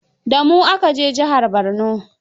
Da mu aka je jihar Borno.